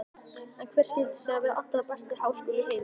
En hver skyldi síðan vera allra besti háskóli í heimi?